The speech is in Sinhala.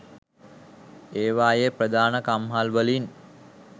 ඒවායේ ප්‍රධාන කම්හල්වලින්